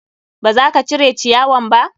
Ba za ka cire ciyawan ba?